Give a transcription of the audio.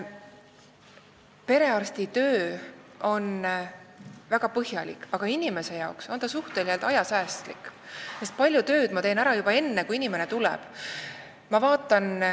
Perearsti töö on väga põhjalik, aga inimesele siiski suhteliselt ajasäästlik, sest palju tööd ma teen ära juba enne, kui ta tuleb.